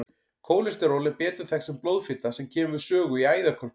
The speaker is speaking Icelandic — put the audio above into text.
Kólesteról er betur þekkt sem blóðfita sem kemur við sögu í æðakölkun.